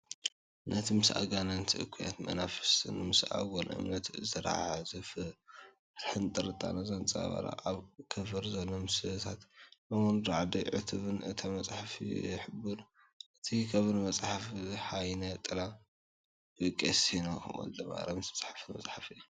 ነቲ ምስ ኣጋንንትን እኩያት መናፍስትን ምስ ኣጉል እምነትን ዚተሓሓዝ ፍርሕን ጥርጣረን ዘንጸባርቕ ፣ኣብ ከቨር ዘሎ ምስልታት እውን ራዕዲን ዕቱብነትን እታ መጽሓፍ ይሕብሩ። ኣብ ከቨር መፅሓፍ "ጎይነ ጥላ" ብቀሲስ ሄኖክ ወ/ማርያም ዝተፃሕፈት መፅሓፍ እያ።